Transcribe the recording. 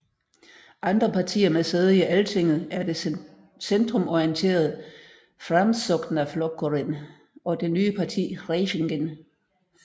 Andre partier med sæde i Altinget er det centrumorienterede Framsóknarflokkurinn og det nye parti Hreyfingin